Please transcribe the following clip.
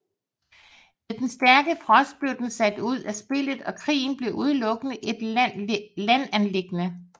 Ved den stærke frost blev den sat ud af spillet og krigen blev udelukkende et landanliggende